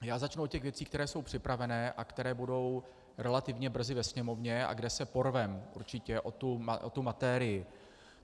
Já začnu od těch věcí, které jsou připravené a které budou relativně brzy ve Sněmovně a kde se porveme určitě o tu materii.